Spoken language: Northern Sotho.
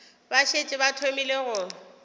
ba šetše ba thomile go